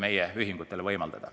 Aitäh!